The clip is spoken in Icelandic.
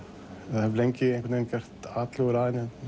ég hef lengi gert atlögur að henni